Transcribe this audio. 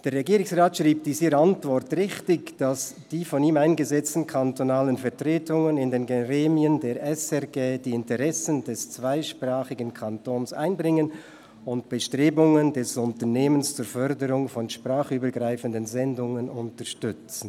Der Regierungsrat schreibt in seiner Antwort richtig, «dass die von ihm eingesetzten kantonalen Vertretungen in den Gremien der SRG […] die Interessen des zweisprachigen Kantons einbringen und Bestrebungen des Unternehmens zur Förderung von sprachübergreifenden Sendungen unterstützen.»